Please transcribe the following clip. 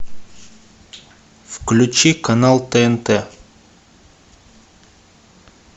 включи канал тнт